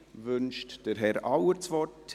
Wünscht Herr Auer das Wort?